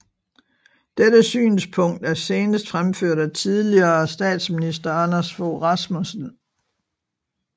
Dette synspunkt er senest fremført af tidligere statsminister Anders Fogh Rasmussen